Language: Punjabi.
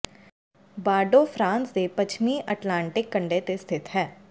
ਬਾਰਡੋ ਫਰਾਂਸ ਦੇ ਪੱਛਮੀ ਅਟਲਾਂਟਿਕ ਕੰਢੇ ਤੇ ਸਥਿਤ ਹੈ